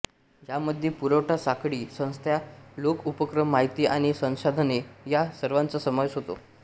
यामध्ये पुरवठा साखळी संस्था लोक उपक्रम माहिती आणि संसाधने या सर्वांचा समावेश होतो